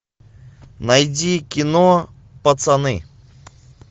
найди кино пацаны